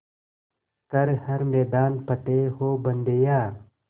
कर हर मैदान फ़तेह ओ बंदेया